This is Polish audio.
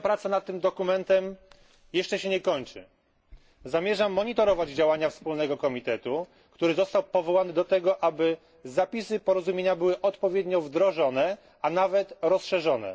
Moja praca nad tym dokumentem jeszcze się nie kończy. Zamierzam monitorować działania wspólnego komitetu, który został powołany do tego, aby zapisy porozumienia były odpowiednio wdrożone, a nawet rozszerzone.